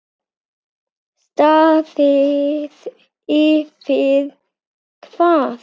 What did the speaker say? Staðið yfir hvað?